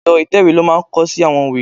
Èrọ ìtẹ̀wè ló máa ń kọ sí àwọn ìwé.